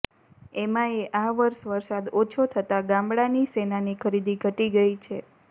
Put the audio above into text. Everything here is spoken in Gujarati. એમાં યે આ વર્ષ વરસાદ ઓછો થતાં ગામડાની સોનાની ખરીદી ઘટી ગઈ છે